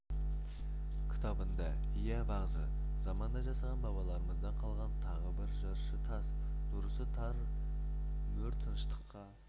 кітабында иә бағзы заманда жасаған бабаларымыздан қалған тағы бір жыршы тас дұрысы тас мөр тыныштыққа